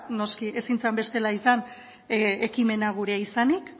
noski ezin zen bestela izan ekimena gurea izanik